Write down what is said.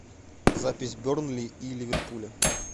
запись бернли и ливерпуля